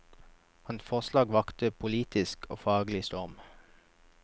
Hans forslag vakte politisk og faglig storm.